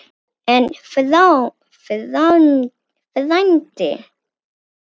En, frændi